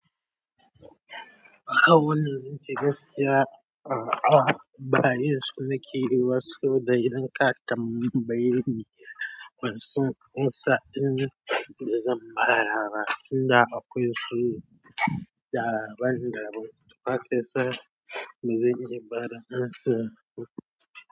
A wannan zance gaskiya, a'a ba iya so na ke yi ba saboda idan ka tambaye ni, ban san amsa in da zan ba da ba, tunda akwai su daban-daban. To fa kinsan me zan iya bada amsan ku.